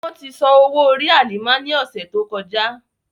Wọn ti san owo-ori Halima ni ọsẹ to kọja.